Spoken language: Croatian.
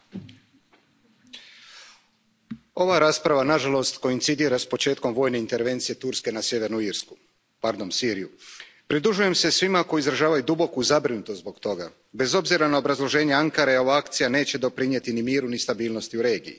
Poštovana predsjedavajuća, ova rasprava nažalost koincidira s početkom vojne intervencije Turske na sjevernu Siriju. Pridružujem se svima koji izražavaju duboku zabrinutost zbog toga. Bez obzira na obrazloženje Ankare ova akcija neće doprinijeti ni miru ni stabilnosti u regiji.